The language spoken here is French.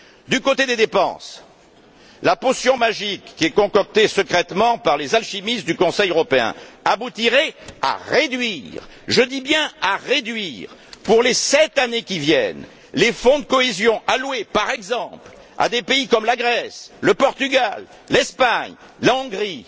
Du côté des dépenses, la potion magique qui est concoctée secrètement par les alchimistes du Conseil européen aboutirait à réduire, je dis bien à réduire, pour les sept années qui viennent, les fonds de cohésion alloués, par exemple, à des pays comme la Grèce, le Portugal, l'Espagne ou la Hongrie.